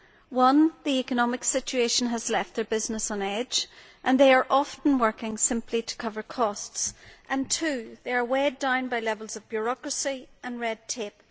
Firstly, the economic situation has left their business on edge and they are often working simply to cover costs. Secondly, they are weighed down by levels of bureaucracy and red tape.